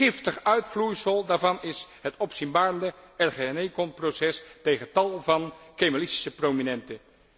Giftig uitvloeisel daarvan is het opzienbarende ergenekom proces tegen tal van Kemalistische prominenten.